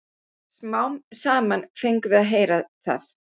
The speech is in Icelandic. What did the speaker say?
Smám saman fengum við að heyra það.